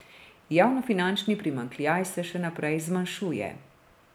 Javnofinančni primanjkljaj se še naprej zmanjšuje.